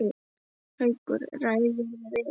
Haukur: Ræðirðu við þetta?